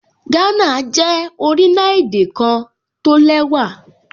Gánà jẹ́ orílẹ̀-èdè kan tó lẹ́wà